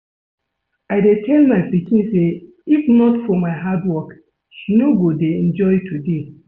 I dey tell my pikin say if not for my hard work she no go dey enjoy today